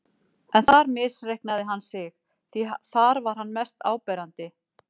En þar misreiknaði hann sig, því þar var hann mest áberandi.